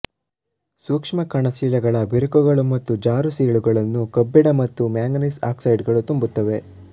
ಸೂಕ್ಷ್ಮಕಣ ಶಿಲೆಗಳ ಬಿರುಕುಗಳು ಮತ್ತು ಜಾರು ಸೀಳುಗಳನ್ನು ಕಬ್ಬಿಣ ಮತ್ತು ಮ್ಯಾಂಗನೀಸ್ ಆಕ್ಸೈಡುಗಳು ತುಂಬುತ್ತವೆ